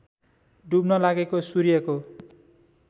डुब्न लागेको सूर्यको